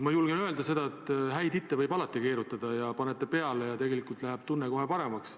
Ma julgen öelda, et häid hitte võib alati keerutada: paned ta peale ja tegelikult läheb tunne kohe paremaks.